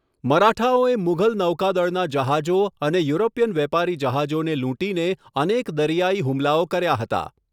મરાઠાઓએ મુઘલ નૌકાદળના જહાજો અને યુરોપિયન વેપારી જહાજોને લૂંટીને અનેક દરિયાઈ હુમલાઓ કર્યા હતા.